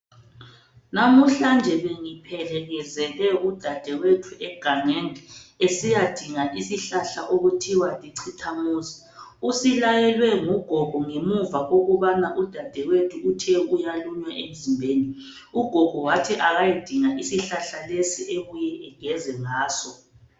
Lamuhlanje bengiphelekezele udadewethu egangeni esiyadinga isihlahla okuthiwa licithamuzi. Usilayelwe ngugogo ngemuva kokubana udadewethu ethe uyalunywa emzimbeni. Ugogo wathi akayedinga isihlahla lesi abuye ageze ngaso.